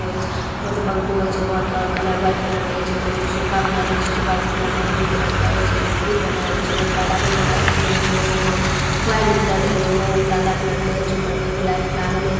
उपर जो पंखो है कलर वाइट कलर का सोफे बनायेलो छे कलर मेरुंन कलर का है जे को फुल बनायेलो चो काला कलर मस्त वायर निकलो जो काला कलर है जो उपर में लाईट लागेले तो--